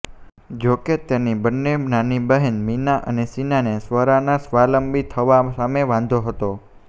જોકે તેની બન્ને નાની બહેન મીના અને શીનાને સ્વરાનાં સ્વાવલંબી થવાં સામે વાંધો હતો